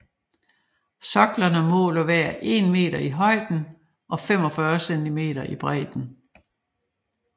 Soklerne måler hver 1 meter i højden og 45 cm i bredden